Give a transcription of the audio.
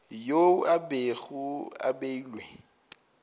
yeo e bego e beilwe